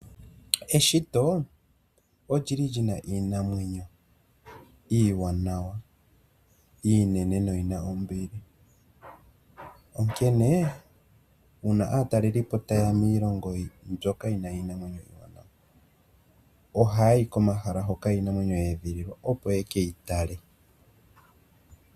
Eshito olyili li na iinamwenyo iiwanawa, iinene noyi na ombili, onkene uuna aatalelipo taye ya miilongo ,byoka yi na iinamwenyo iiwanawa ohaya yi komahala hoka iinamwenyo ya edhililwa opo yeke yi tale.